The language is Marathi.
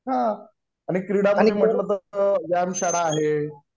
आणि क्रीडा मध्ये म्हणलं तर व्यायाम शाळा आहे.